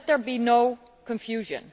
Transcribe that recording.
But let there be no confusion.